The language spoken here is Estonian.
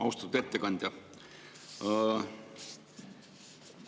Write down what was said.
Austatud ettekandja!